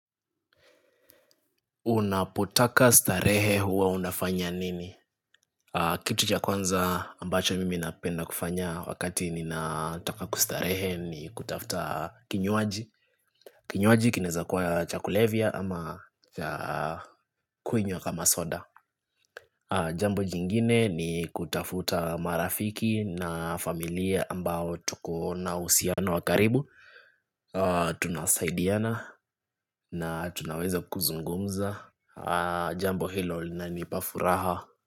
Unapotaka starehe huwa unafanya nini? Kitu cha kwanza ambacho mimi napenda kufanya wakati nataka kustarehe ni kutafuta kinywaji. Kinywaji kinaweza kuwa cha kulevia ama cha kunywa kama soda. Jambo jingine ni kutafuta marafiki na familia ambao tuko na uhusiano wa karibu Tunasaidiana na tunaweza kuzungumza Jambo hilo linanipa furaha.